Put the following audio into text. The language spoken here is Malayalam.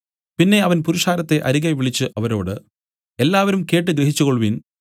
പിന്നെ അവൻ പുരുഷാരത്തെ അരികെ വിളിച്ചു അവരോട് എല്ലാവരും കേട്ട് ഗ്രഹിച്ചുകൊൾവിൻ